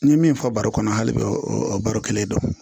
N ye min fɔ baro kɔnɔ hali bi o baro kelen don